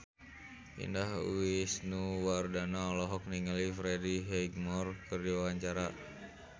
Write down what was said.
Indah Wisnuwardana olohok ningali Freddie Highmore keur diwawancara